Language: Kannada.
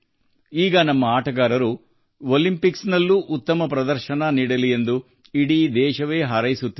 ಈಗ ನಮ್ಮ ಆಟಗಾರರು ಒಲಿಂಪಿಕ್ಸ್ನಲ್ಲೂ ಉತ್ತಮ ಪ್ರದರ್ಶನ ನೀಡಲಿ ಎಂದು ಇಡೀ ದೇಶವೇ ಹಾರೈಸುತ್ತಿದೆ